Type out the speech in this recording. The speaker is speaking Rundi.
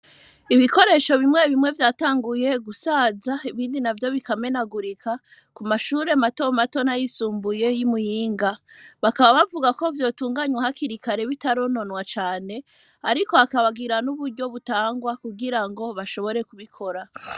ibikoresho bimwe bimwe vyatanguye gusaza ibindi navyo bikamenagurika kumashure mato mato n,ayisumbuye y,imuyinga bakaba bavuga ko vyotunganywa hakiri kare bitarononwa cane ariko bakababwira n,uburyo butangwa kugira bashobore kubikora